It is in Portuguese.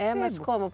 É, mas como?